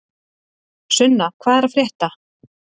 Sunna, hvað er að frétta?